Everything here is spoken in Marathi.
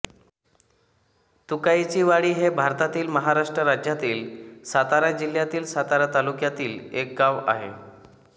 तुकाईचीवाडी हे भारतातील महाराष्ट्र राज्यातील सातारा जिल्ह्यातील सातारा तालुक्यातील एक गाव आहे